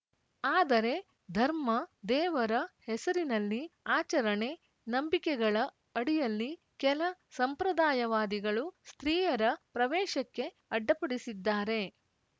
ಆದರೆ ಧರ್ಮ ದೇವರ ಹೆಸರಿನಲ್ಲಿ ಆಚರಣೆ ನಂಬಿಕೆಗಳ ಅಡಿಯಲ್ಲಿ ಕೆಲ ಸಂಪ್ರದಾಯವಾದಿಗಳು ಸ್ತ್ರೀಯರ ಪ್ರವೇಶಕ್ಕೆ ಅಡ್ಡಪಡಿಸಿದ್ದಾರೆ